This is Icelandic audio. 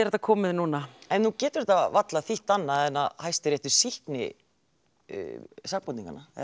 þetta komið núna en nú getur þetta varla þýtt annað en að Hæstiréttur sýkni sakborningana